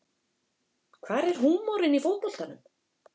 Hvar er húmorinn í fótboltanum